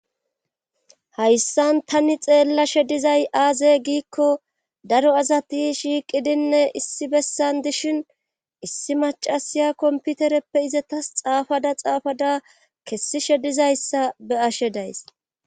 hayssan tani xeellashe dizay aaze giikko daro asati shiiqidinne issi bessan dishin issi macasiya komputereppe izatas xaafada xaafada kessishe dizayssa be7ashe days